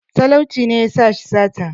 talauci ne ya sa shi sata